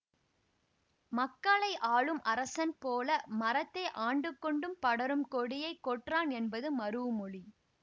மக்களை ஆளும் அரசன் போல மரத்தை ஆண்டுகொண்டும் படரும் கொடியை கொற்றான் என்பது மரூஉமொழி